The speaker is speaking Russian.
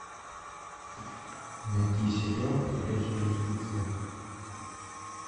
найти сериал ходячие мертвецы